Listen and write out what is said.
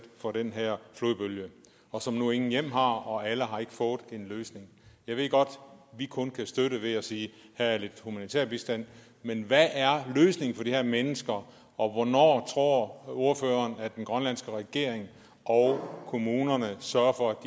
for den her flodbølge og som nu intet hjem har og ikke alle har fået en løsning jeg ved godt at vi kun kan støtte ved at sige at her er lidt humanitær bistand men hvad er løsningen for de her mennesker og hvornår tror ordføreren at den grønlandske regering og kommunerne sørger for at